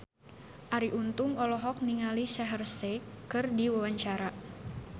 Arie Untung olohok ningali Shaheer Sheikh keur diwawancara